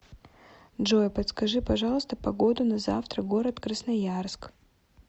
джой подскажи пожалуйста погоду на завтра город красноярск